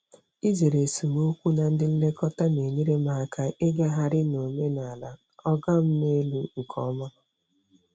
Izere esemokwu na ndị nlekọta na-enyere m aka ịgagharị n'omenala “oga m n'elu” nke ọma.